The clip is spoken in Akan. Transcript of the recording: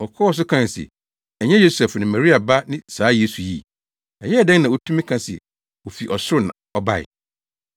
Wɔkɔɔ so kae se, “Ɛnyɛ Yosef ne Maria ba ne saa Yesu yi? Ɛyɛɛ dɛn na otumi ka se ofi ɔsoro na ɔbae?”